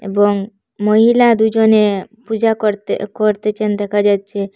এবং মহিলা দুজনে পূজা করতে করতেচেন দেখা যাচ্চে।